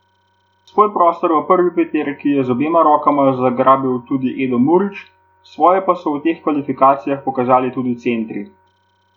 Svoj prostor v prvi peterki je z obema rokama zgrabil tudi Edo Murić, svoje pa so v teh kvalifikacijah pokazali tudi centri.